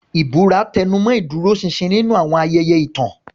Ìbúra tẹnumọ́ ìdúróṣinṣin nínú àwọn ayẹyẹ ìtàn.